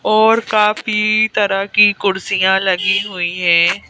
और काफी तरह की कुर्सियां लगी हुई हैं।